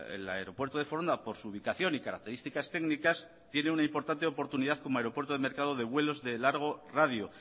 el aeropuerto de foronda por su ubicación y características técnicas tiene una importante oportunidad como aeropuerto de mercado de vuelos de largo radio